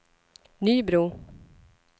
Nybro